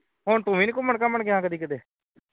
ਹੁਣ ਤੂੰ ਵੀ ਨਹੀਂ ਘੁੰਮਣ ਘੁਾਮਣ ਗਿਆ ਕਿੱਥੇ